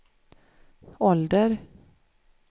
ålder